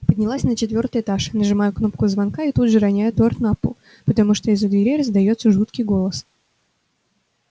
поднялась на четвёртый этаж нажимаю кнопку звонка и тут же роняю торт на пол потому что из-за двери раздаётся жуткий голос